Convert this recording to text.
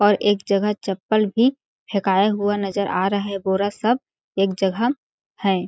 और एक जगह चप्पल भी फेकाया हुआ नज़र आ रहा बोरा सब एक जगह है।